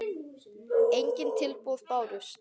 Engin tilboð bárust.